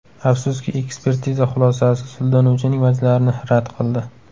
Afsuski, ekspertiza xulosasi sudlanuvchining vajlarini rad qildi.